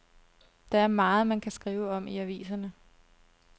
Der er meget, man kan skrive om i aviserne.